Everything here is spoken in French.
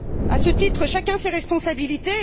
À ce titre, chacun ses responsabilités.